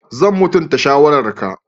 Zan mutunta shawararka.